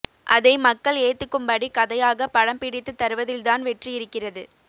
அதை மக்கள் ஏத்துக்கும்படி கதையாக படம் பிடித்து தருவதில்தான் வெற்றி இருக்கிறது